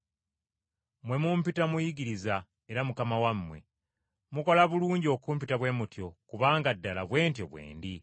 Mmwe mumpita Muyigiriza era Mukama wammwe, mukola bulungi okumpita bwe mutyo kubanga ddala bwe ntyo bwe ndi.